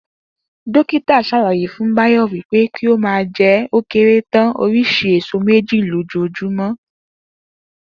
Dókítà s̩àlàyé fún Báyò̩ wí pé kí ó máa je̩ ó kéré tán orís̩i èso méjì lójoojúmó̩